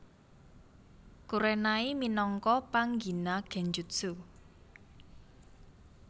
Kurenai minangka panggina Genjutsu